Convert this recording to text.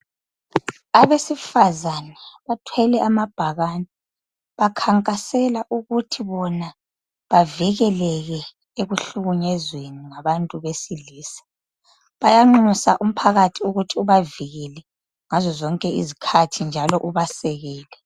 Abesifazane bathwele amabhakane ,bakhankasela ukuthi bona bavikeleke ekuhlukunyezweni ngabantu besilisa .Bayanxusa umphakathi ukuthi ubavikele ngazo zonke izikhathi njalo ubasekele .